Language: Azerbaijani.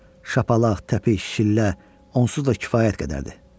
Şapalaq, təpik, şillə onsuz da kifayət qədərdir.